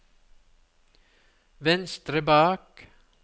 venstre bak